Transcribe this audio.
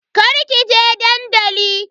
Kar kije dandali.